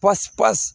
Pasi pasi